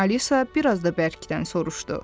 Alisa biraz da bərkdən soruşdu.